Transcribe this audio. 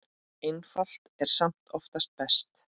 Einfalt er samt oftast best.